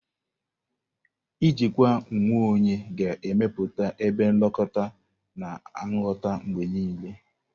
Ijikwa onwe onye ga-emepụta ebe nlekọta na nghọta mgbe niile.